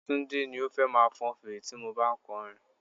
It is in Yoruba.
Túndé ni ó fẹ́ máa fọn fèrè tí mo bá ń kọ orin.